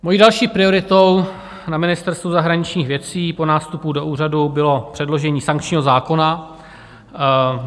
Mojí další prioritou na Ministerstvu zahraničních věcí po nástupu do úřadu bylo předložení sankčního zákona.